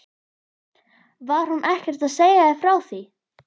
Var hún ekkert að segja þér frá því?